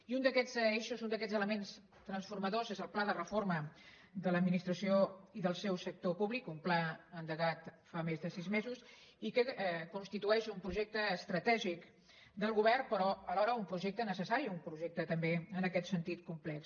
i un d’aquests eixos un d’aquests elements transformadors és el pla de reforma de l’administració i del seu sector públic un pla endegat fa més de sis mesos i que constitueix un projecte estratègic del govern però alhora un projecte necessari un projecte també en aquest sentit complex